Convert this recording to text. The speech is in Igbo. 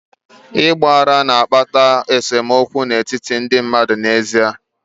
Ịgba aghara na-akpata nsemokwu n'etiti ndị mmadụ n'ezie.